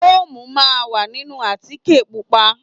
Fóòmù máa ń wà nínú àtíkè Pupa.